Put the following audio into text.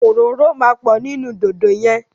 Òróró máa pọ̀ nínú dòdò yẹn.